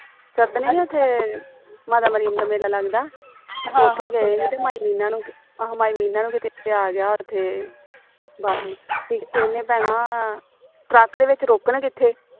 ਨਹੀ ਉਥੇ ਮਾਤਾ ਦਾ ਮੇਲਾ ਲੱਗਦਾ ਉਥੇ ਗਏ ਹੀ ਤੇ ਮੀਨਾ ਨੂੰ ਆਹੋ ਮੀਨਾ ਨੂੰ ਕਿਤੇ ਆ ਗਿਆ ਉਥੇ ਬਾਥਰੂਮ ਤੇ ਇਹਨੇ ਭੈਣਾਂ ਟਰੱਕ ਦੇ ਵਿਚ ਰੋਕਣ ਕਿਥੇ